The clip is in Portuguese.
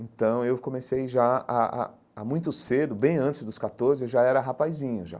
Então eu comecei já há há há muito cedo, bem antes dos catorze, eu já era rapazinho, já.